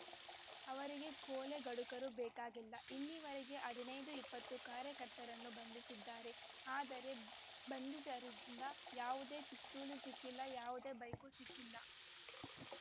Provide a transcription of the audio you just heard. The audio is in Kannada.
ಅವರಿಗೆ ಕೊಲೆಗಡುಕರು ಬೇಕಾಗಿಲ್ಲ ಇಲ್ಲಿವರೆಗೆ ಹದಿನೈದು ಇಪ್ಪತ್ತು ಕಾರ್ಯಕರ್ತರನ್ನು ಬಂಧಿಸಿದ್ದಾರೆ ಆದರೆ ಬಂಧಿತರಿಂದ ಯಾವುದೇ ಪಿಸ್ತೂಲ್‌ ಸಿಕ್ಕಿಲ್ಲ ಯಾವುದೇ ಬೈಕ್‌ ಸಿಕ್ಕಿಲ್ಲ